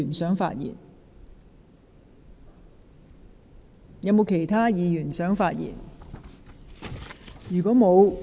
是否有其他議員想發言？